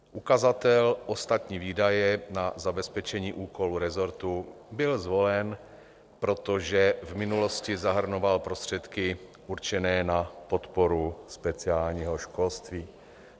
Ukazatel Ostatní výdaje na zabezpečení úkolů resortu byl zvolen, protože v minulosti zahrnoval prostředky určené na podporu speciálního školství.